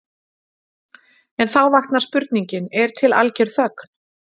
En þá vaknar spurningin: Er til algjör þögn?